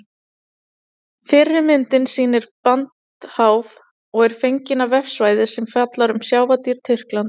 Fyrri myndin sýnir brandháf og er fengin á vefsvæði sem fjallar um sjávardýr Tyrklands.